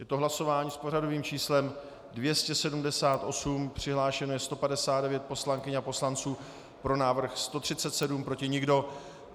Je to hlasování s pořadovým číslem 278, přihlášeno je 159 poslankyň a poslanců, pro návrh 137, proti nikdo.